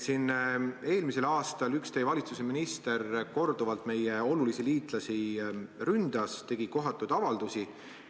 Eelmisel aastal üks teie valitsuse minister ründas korduvalt meie olulisi liitlasi, tegi kohatuid avaldusi.